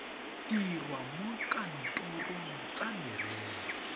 dirwa mo dikantorong tsa merero